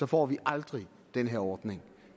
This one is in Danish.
får vi aldrig den her ordning